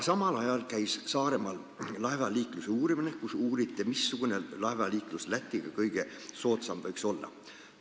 Samal ajal käis Saaremaal laevaliikluse analüüs – uuriti, missugune laevaliiklus Lätiga võiks olla kõige soodsam.